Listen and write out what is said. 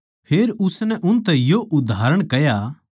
फेर उसनै उनतै यो उदाहरण कह्या